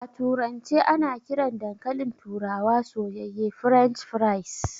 A turance ana kiran dankalin turawa soyayye "French fries".